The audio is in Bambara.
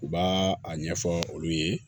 U b'a a ɲɛfɔ olu ye